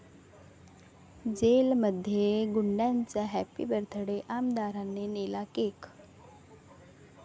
जेलमध्ये गुंडाचा 'happy birth day', आमदाराने नेला केक?